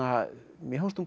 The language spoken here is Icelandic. mér fannst hún